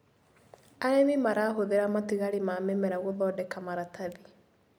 Arĩmi marahũthĩra matigari ma mĩmera gũthondeka maratathi.